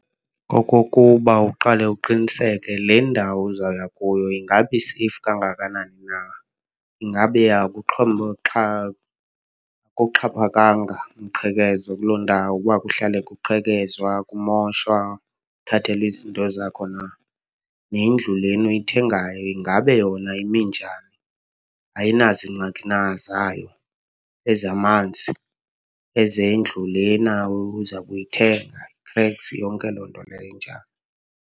Kokokuba uqale uqiniseke le ndawo uzawuya kuyo ingaba iseyifi kangakanani na. Ingabe akuxhaphakanga mqhekezo kuloo ndawo, uba kuhlalwe kuqhekezwa, kumoshwa, uthathelwe izinto zakho na. Nendlu lena uyithengayo, ingabe yona ime njani, ayinaziingxaki na zayo ezamanzi, ezendlu lena uza kuyithenga, i-cracks, yonke loo nto leyo enjalo.